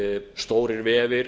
stórir vefir